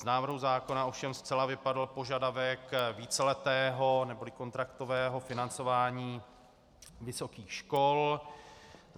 Z návrhu zákona ovšem zcela vypadl požadavek víceletého neboli kontraktového financování vysokých škol.